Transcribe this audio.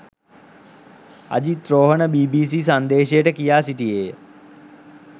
Ajith Rohana BBC සංදේශයට කියා සිටියේය.